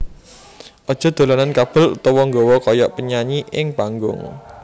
Aja dolanan kabel utawa nggaya kaya penyanyi ing panggung